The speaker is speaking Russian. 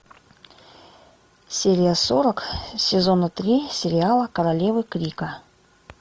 серия сорок сезона три сериала королевы крика